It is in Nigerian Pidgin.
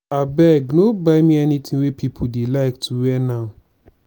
abeg no buy me anything wey people dey like to wear now